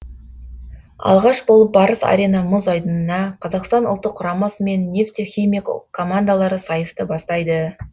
алғаш болып барыс арена мұз айдынына қазақстан ұлттық құрамасы мен нефтехимик командалары сайысты бастайды